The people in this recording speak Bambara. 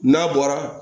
N'a bɔra